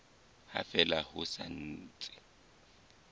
ha fela ho sa ntse